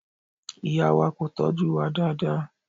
Ìyá wa kò tọ́jú wa dáadáa.